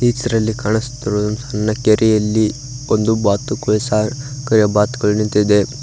ಇದರಲ್ಲಿ ಕಾಣಿಸ್ತಿರುವುದು ಸಣ್ಣ ಕೆರಿಯಲ್ಲಿ ಒಂದು ಬಾತುಕೊಳಿ ಸರ್ ಕಯ ಬಾತುಕೊಳಿ ನಿಂತಿದೆ.